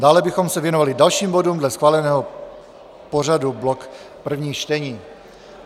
Dále bychom se věnovali dalším bodům dle schváleného pořadu, blok prvních čtení.